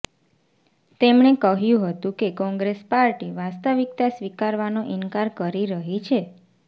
તેમણે કહ્યું હતું કે કોંગ્રેસ પાર્ટી વાસ્તવિકતા સ્વીકારવાનો ઈન્કાર કરી રહી છે